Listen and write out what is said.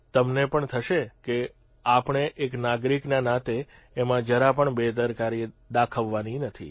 તમને પણ થશે કે આપણે એક નાગરિકના નાતે એમાં જરાપણ બેદરકારી દાખવવાની નથી